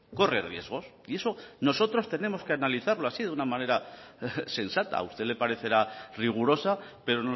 corre riesgos y eso nosotros tenemos que analizarlo así de una manera sensata a usted le parecerá rigurosa pero